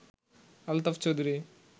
Altaf Chowdhury